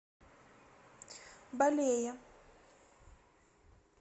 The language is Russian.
балее